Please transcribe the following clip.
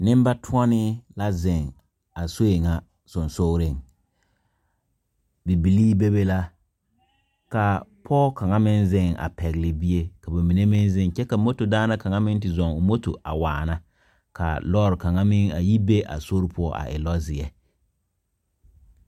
Nenbatɔnee la zeŋ a soɛ nyɛ sonsoli, bibile be be la ka pɔge kaŋa meŋ zeŋ a pegle bie ka ba mine meŋ zeŋ kyɛ ka moto daane kaŋa meŋ te zɔɔ o moto a waana ka lɔre kaŋa meŋ a yi be a sori poɔ a e lɔ ziɛ.